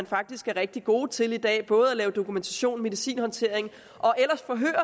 faktisk er rigtig gode til i dag både at lave dokumentation og medicinhåndtering